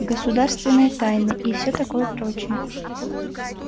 государственная тайна и всё такое прочее